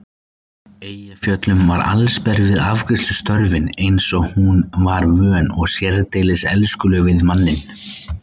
Eyjafjöllum var allsber við afgreiðslustörfin eins og hún var vön og sérdeilis elskuleg við manninn.